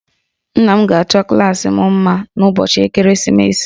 Nna m ga-achọ klaasị m mma n'ụbọchị ekeresimesi